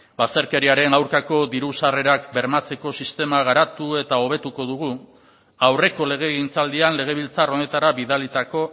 bazterkeriaren aurkako diru sarrerak bermatzeko sistema garatu eta hobetuko dugu aurreko legegintzaldian legebiltzar honetara bidalitako